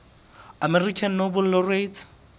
american nobel laureates